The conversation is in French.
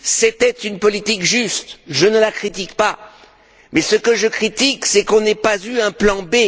C'était une politique juste, je ne la critique pas mais, ce que je critique, c'est que nous n'ayons pas eu un plan B.